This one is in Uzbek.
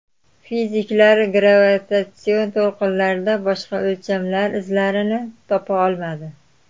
Fiziklar gravitatsion to‘lqinlarda boshqa o‘lchamlar izlarini topa olmadi.